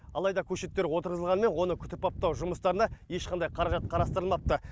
алайда көшеттер отырғызылғанымен оны күтіп баптау жұмыстарына ешқандай қаражат қарастырылмапты